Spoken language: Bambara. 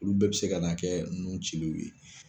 Olu bɛɛ bɛ se ka na kɛ nun cilenw ye.